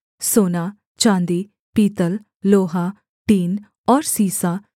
सोना चाँदी पीतल लोहा टीन और सीसा